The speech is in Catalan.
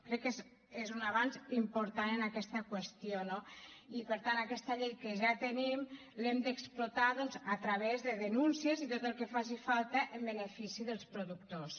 crec que és un avanç important en aquesta qüestió no i per tant aquesta llei que ja tenim l’hem d’explotar doncs a través de denúncies i tot el que faci falta en benefici dels productors